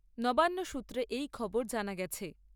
নবান্ন সূত্রে এই খবর জানা গেছে।